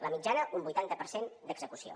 la mitjana un vuitanta per cent d’execució